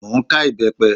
Mo ń ká ìbẹ́pẹ